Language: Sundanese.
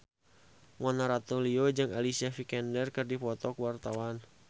Mona Ratuliu jeung Alicia Vikander keur dipoto ku wartawan